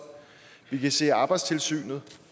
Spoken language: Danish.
vi kan se at arbejdstilsynet